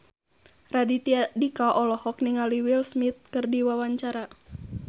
Raditya Dika olohok ningali Will Smith keur diwawancara